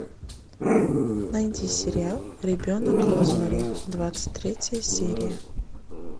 найди сериал ребенок розмари двадцать третья серия